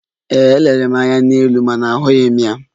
Ee, m lere anya n'elu ma ahụghị m ya.